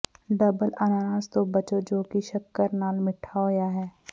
doubled ਅਨਾਨਾਸ ਤੋਂ ਬਚੋ ਜੋ ਕਿ ਸ਼ੱਕਰ ਨਾਲ ਮਿੱਠਾ ਹੋਇਆ ਹੈ